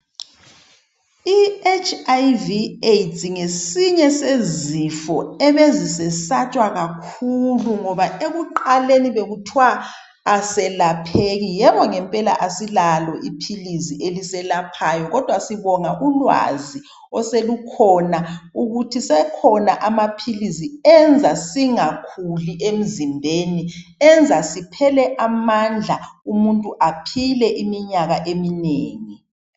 I HIV AIDS ngesinye sezifo ebezi sesatshwa kakhulu ngoba ekuqaleni bekuthwa aselapheki. Yebo ngempela asilalo iphilisi eliselaphayo kodwa sibonga ulwazi oselukhona ukuthi sekhona amaphilisi enza singakhuli emzimbeni. Enza siphele amandla umuntu aphile iminyaka eminengi.